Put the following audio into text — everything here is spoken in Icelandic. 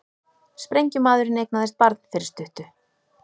Sprengjumaðurinn eignaðist barn fyrir stuttu